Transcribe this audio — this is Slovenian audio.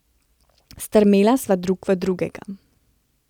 Strmela sva drug v drugega.